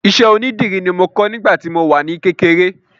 Iṣẹ́ onídìrí ni mo kọ́ nígbà tí mo wà ní kékeré